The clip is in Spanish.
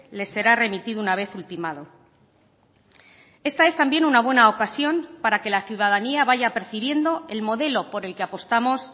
les será remitido una vez ultimado esta es también una buena ocasión para que la ciudadanía vaya percibiendo el modelo por el que apostamos